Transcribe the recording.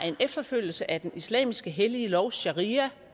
en efterfølgelse af den islamiske hellige lov sharia